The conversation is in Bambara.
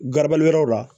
Garabali yɔrɔ la